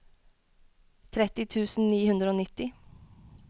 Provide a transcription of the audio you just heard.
tretti tusen ni hundre og nitti